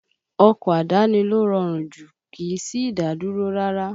Ọkọ̀ àdáni ló rọrùn jùlọ, kìí sí ìdádúró rárá